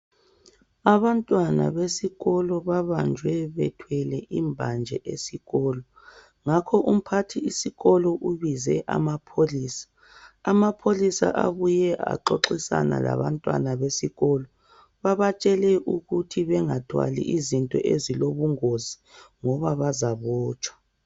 Abantwana besikolo babanjwe bethwele imbanje esikolo ngakho umphathisikolo ubize amapholisa. Amapholisa abuye axoxisana labantwana besikolo. Babatshele ukuthi bengathwali izinto ezilobungozi ngoba bazabotshwa.